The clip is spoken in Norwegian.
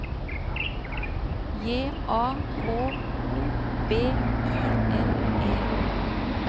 J A K O B I N E